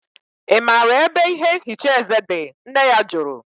I maara ebe ihe nhicha eze dị? Nne ya jụrụ